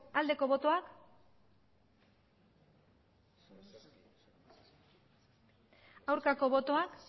aldeko botoak aurkako botoak